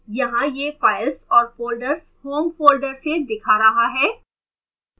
यहाँ यह files और folders home folders से दिखा रहा है